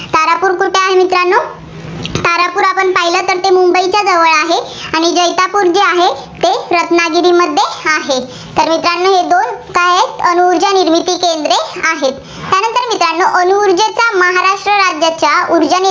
तारापूर आपण पाहिलं तर मुंबईच्या जवळ आहे, आणि जैतापूर जे आहे, ते रत्नागिरीमध्ये आहे. तर मित्रांनो हे दोन काय आहेत, अणुऊर्जा निर्मिती केंद्रे आहेत. त्यानंतर मित्रांनो अणुऊर्जेचा महाराष्ट्र राज्याच्या ऊर्जा